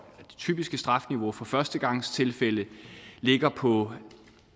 typiske strafniveau for førstegangstilfælde ligger på